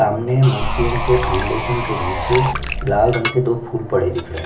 सामने मूर्तियों के फाउंडेशन के नीचे लाल रंग के दो फूल पड़े दिख रहै है।